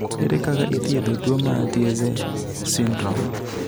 Ere kaka ithiedho tuo mar Tietze syndrome?